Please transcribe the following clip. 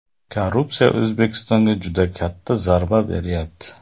Korrupsiya O‘zbekistonga juda katta zarba beryapti.